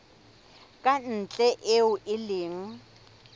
ka ntle eo e leng